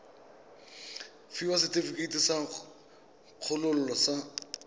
fiwa setefikeiti sa kgololo sa